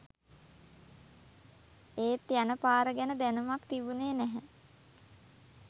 ඒත් යන පාර ගැන දැනුමක් තිබුනේ නැහැ